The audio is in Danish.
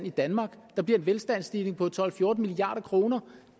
i danmark der bliver en velstandsstigning på tolv til fjorten milliard kr og